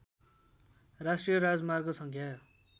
राष्ट्रिय राजमार्ग सङ्ख्या